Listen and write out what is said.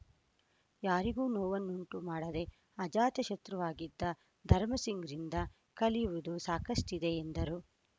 ಯಾರಿಗೂ ನೋವನ್ನುಂಟು ಮಾಡದೆ ಆಜಾತ ಶತ್ರವಾಗಿದ್ದ ಧರ್ಮಸಿಂಗ್‌ರಿಂದ ಕಲಿಯುವುದು ಸಾಕಷ್ಟಿದೆ ಎಂದರು